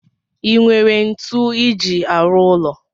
Inwere ntu iji arụ ụlọ?